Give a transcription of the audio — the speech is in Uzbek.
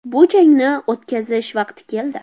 Bu jangni o‘tkazish vaqti keldi.